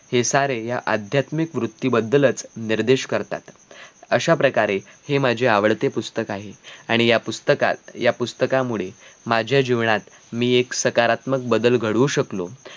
हे सारे या अध्यात्मिक कृतीबद्दल निर्देश करतात अशा प्रकारे हे माझे आवडते पुस्तक आहे आणि या पुस्तकात या पुस्तकांमुळे माझ्या जीवनात मी एक सकारात्मक बदल घडवू शकलो